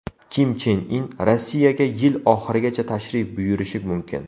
Kim Chen In Rossiyaga yil oxirigacha tashrif buyurishi mumkin.